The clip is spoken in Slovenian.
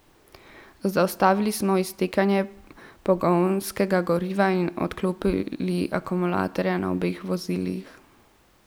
Zaustavili smo iztekanje pogonskega goriva in odklopili akumulatorja na obeh vozilih.